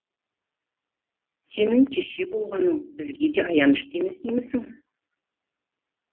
сенің кеще болғаның бізге де аянышты емес деймісің